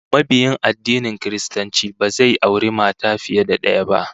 Mabiyin addinin Kiristanci ba zai auri mata fiye da daya ba